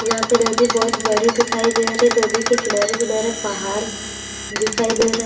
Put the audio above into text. यहां पे नदी बहुत बड़ी दिखाई दे रही है नदी के किनारे किनारे पहाड़ दिखाई दे रहा है।